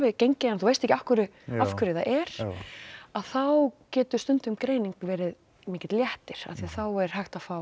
gengið en þú veist ekki af hverju af hverju það er þá getur stundum greining verið mikill léttir því þá er hægt að fá